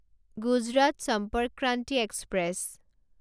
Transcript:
Gujarat Sampark Kranti express